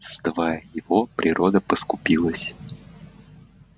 создавая его природа поскупилась